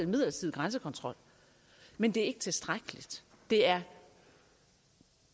midlertidige grænsekontrol men det er ikke tilstrækkeligt det er